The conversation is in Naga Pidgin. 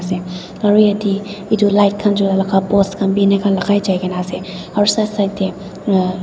aro yatey etu light khan post khan bei lakai jai kena ase aro side side dey un.